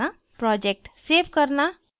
project save करना